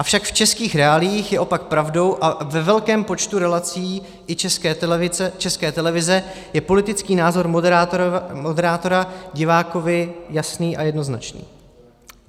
Avšak v českých reáliích je opak pravdou a ve velkém počtu relací i České televize je politický názor moderátora divákovi jasný a jednoznačný.